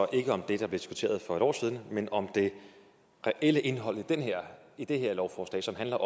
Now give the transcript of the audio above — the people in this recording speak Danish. ikke om det der blev diskuteret for et år siden men om det reelle indhold i det her lovforslag som handler